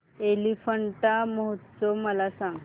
एलिफंटा महोत्सव मला सांग